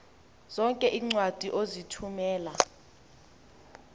zonke iincwadi ozithumela